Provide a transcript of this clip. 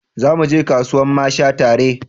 Za mu je kasuwan masha tare